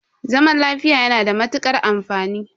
Zaman lafiya yana da matukar amfani.